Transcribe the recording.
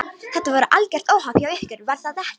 Þetta var algert óhapp hjá ykkur, var það ekki?